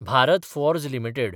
Bharat Forge limited